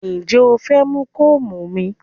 Ǹjẹ́ o fẹ́ mú kóòmù mi?